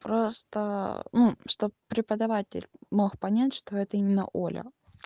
просто чтобы преподаватель мог понять что это именно оля